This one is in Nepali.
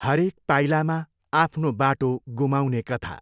हरेक पाइलामा आफ्नो बाटो गुमाउने कथा।